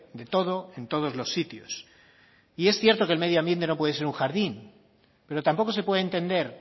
de todo en todos los sitios y es cierto que el medio ambiente no puede ser un jardín pero tampoco se puede entender